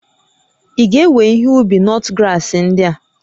Ị ga-ewe ihe ubi nutgrass ndị a?